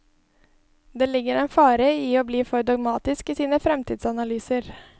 Det ligger en fare i å bli for dogmatisk i sine fremtidsanalyser.